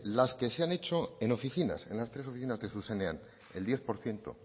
las que se han hecho en oficinas en las tres oficinas de zuzenean el diez por ciento